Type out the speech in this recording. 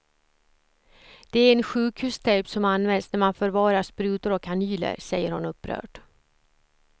Det är en sjukhustejp som används när man förvarar sprutor och kanyler, säger hon upprört.